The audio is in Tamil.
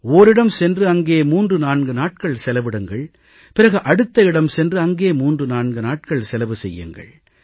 ஓரிடம் சென்று அங்கே 34 நாட்கள் செலவிடுங்கள் பிறகு அடுத்த இடம் சென்று அங்கே 34 நாட்கள் செலவு செய்யுங்கள்